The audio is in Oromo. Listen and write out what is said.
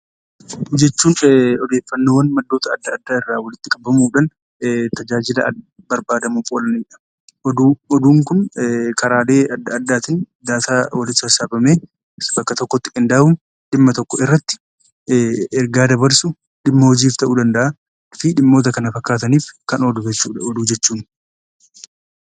Oduu jechuun odeeffannoowwan maddoota adda addaa irraa walitti qabamuudhaan tajaajila barbaaduuf oolanidha. Oduun kun karaalee adda addaatiin walitti sassaabamee, bakka tokkotti qindeeffamee yoo ta'u, dhimma tokkorratti ergaa dabarsuu dhimma hojiif ta'uu danda'a fi dhimmoota kana fakkaataniif kan oolu jechuudha oduu jechuun.